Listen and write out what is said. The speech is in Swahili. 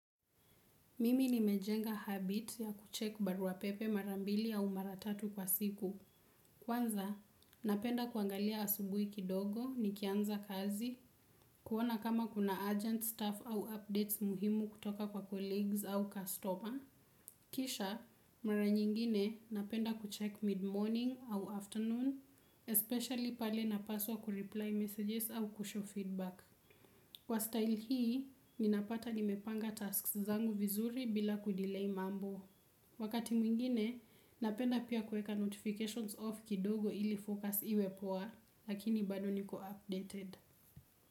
Mimi nimejenga habit ya kuchek baruapepe marambili au maratatu kwa siku. Kwanza, napenda kuangalia asubuhi kidogo nikianza kazi. Kuona kama kuna urgent staff au updates muhimu kutoka kwa colleagues au customer. Kisha mara nyingine napenda kucheki mid morning au afternoon especially pale napaswa kureply messages au kushow feedback. Kwa style hii, ninapata nimepanga tasks zangu vizuri bila kudelay mambo. Wakati mwingine, napenda pia kuweka notifications off kidogo ili focus iwe poa, lakini bado niko updated.